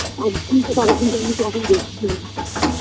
একদিনকে টাকা তিনটের অনেক বেশি হয়ে